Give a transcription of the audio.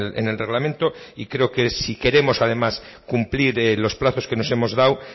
en el reglamento y creo que si queremos además cumplir los plazos que nos hemos dado